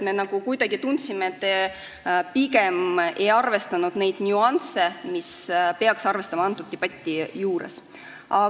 Me kuidagi tundsime, et te pigem ei arvestanud neid nüansse, mida peaks selle debati juures arvestama.